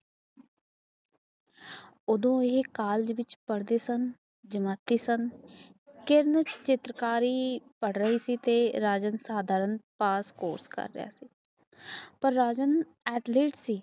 ਓਦੋ ਇਹ ਕਾਲਜ ਵਿੱਚ ਪੜਦੇ ਸਨ ਜਮਾਤੀ ਸਨ ਤੇ ਚਿਤ੍ਰਕਾਰ ਪੜ੍ਹ ਰਹੇ ਸੀ ਰਾਜਨ ਸਧਾਰਣ ਪਾਸ ਕੋਰਸ ਕਰ ਰਿਹਾ ਪਰ ਰਾਜਨ ਅਥਲੀਟ ਸੀ